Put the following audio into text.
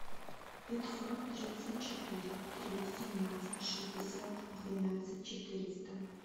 пятьсот тридцать четыре три семнадцать шестьдесят двенадцать четыреста